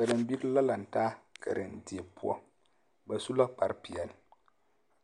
Karembiiri la lantaa karendie poɔ, ba su la kpare peɛle